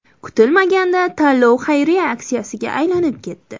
Kutilmaganda tanlov xayriya aksiyasiga aylanib ketdi.